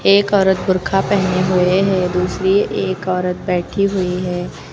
एक औरत बुर्खा पहने हुए है। दूसरी एक औरत बैठी हुई है।